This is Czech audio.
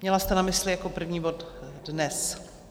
Měla jste na mysli jako první bod dnes?